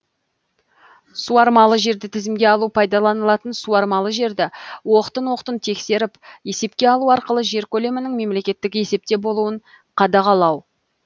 суармалы жерді тізімге алу пайдаланылатын суармалы жерді оқтын оқтын тексеріп есепке алу арқылы жер көлемінің мемлекеттік есепте болуын қадағалау